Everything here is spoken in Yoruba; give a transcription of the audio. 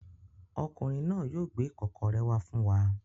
Ọkùnrin náà yóò gbé ìkọ́kọrẹ́ wá fún wa.